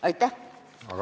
Aitäh!